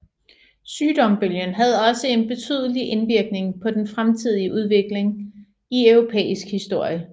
Sygdombølgen havde også en betydelig indvirkning på den fremtidige udvikling i europæisk historie